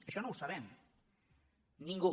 això no ho sabem ningú